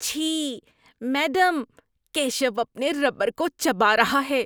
چھی! میڈم، کیشو اپنے ربر کو چبا رہا ہے۔